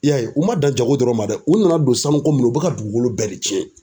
I y'a ye u man dan jago dɔrɔn ma dɛ u nana don sanuko min na u bɛ ka dugukolo bɛɛ de cɛn.